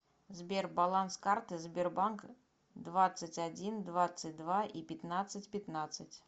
сбер баланс карты сбербанк двадцать один двадцать два и пятнадцать пятнадцать